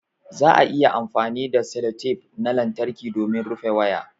Za'a iya amfani da sellotape na lantarƙi domin rufe waya